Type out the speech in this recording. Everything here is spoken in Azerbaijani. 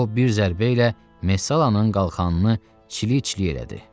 O bir zərbə ilə Mesallanın qalxanını çili-çili elədi.